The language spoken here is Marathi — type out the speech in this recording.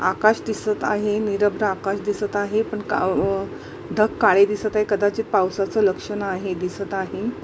आकाश दिसत आहे निरभ्र आकाश दिसत आहे पण क ढग काळे दिसत आहे कदाचित पावसाचं लक्षण आहे दिसत आहे.